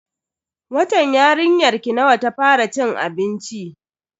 Watan yarinyarki nawa ta fara cin abinci?